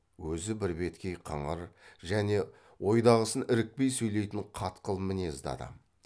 өзі бірбеткей қыңыр және ойдағысын ірікпей сөйлейтін қатқыл мінезді адам